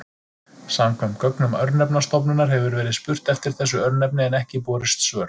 Samkvæmt gögnum Örnefnastofnunar hefur verið spurt eftir þessu örnefni en ekki borist svör.